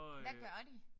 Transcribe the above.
Hvad gør de?